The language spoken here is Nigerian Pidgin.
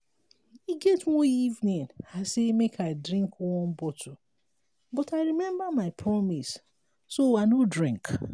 e get one evening i say make i drink one bottle but i remember my promise so i no drink